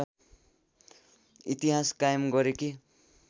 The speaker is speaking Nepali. इतिहास कायम गरेकी